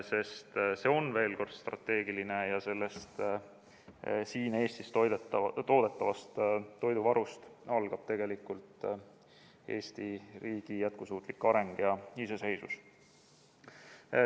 Sest see on, veel kord, strateegiline ja sellest, siin Eestis toodetavast toiduvarust, algab tegelikult Eesti riigi jätkusuutlik areng ja iseseisvus.